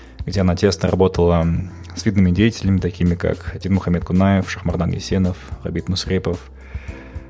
где она тесно работала с видными деятелями такими как динмухаммед конаев шахмардан есенов габит мусрепов